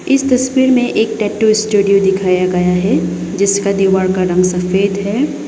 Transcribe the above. इस तस्वीर में एक टैटू स्टूडियो दिखाया गया है जिसका दीवार का रंग सफेद है।